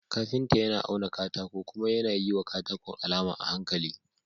Kafinta yAna auna katako kuma yAna yiwa katakon alama a hankali.